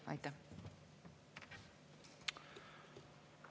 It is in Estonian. Aitäh!